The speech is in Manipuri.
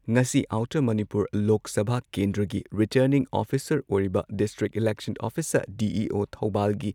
ꯉꯁꯤ ꯑꯥꯎꯇꯔ ꯃꯅꯤꯄꯨꯔ ꯂꯣꯛ ꯁꯚꯥ ꯀꯦꯟꯗ꯭ꯔꯒꯤ ꯔꯤꯇꯔꯅꯤꯡ ꯑꯣꯐꯤꯁꯥꯔ ꯑꯣꯏꯔꯤꯕ ꯗꯤꯁꯇ꯭ꯔꯤꯛ ꯏꯂꯦꯛꯁꯟ ꯑꯣꯐꯤꯁꯥꯔ ꯗꯤ.ꯏ.ꯑꯣ ꯊꯧꯕꯥꯜꯒꯤ